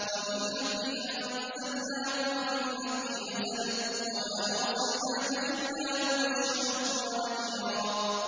وَبِالْحَقِّ أَنزَلْنَاهُ وَبِالْحَقِّ نَزَلَ ۗ وَمَا أَرْسَلْنَاكَ إِلَّا مُبَشِّرًا وَنَذِيرًا